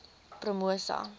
promosa